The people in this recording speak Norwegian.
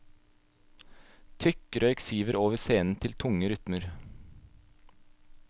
Tykk røyk siver over scenen til tunge rytmer.